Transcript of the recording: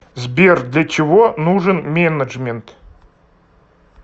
сбер для чего нужен менеджмент